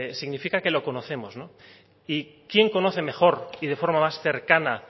significa que lo conocemos y quién conoce mejor y de forma más cercana